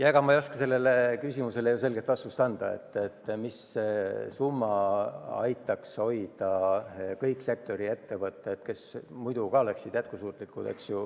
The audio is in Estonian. Ega ma ei oskagi sellele küsimusele selget vastust anda, mis summa aitaks hoida alles kõik sektori ettevõtted, kes muidu oleksid jätkusuutlikud.